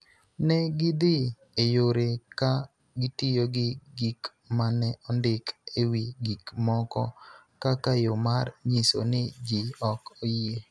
ne gidhi e yore ka gitiyo gi gik ma ne ondik e wi gik moko kaka yo mar nyiso ni ji ok oyie.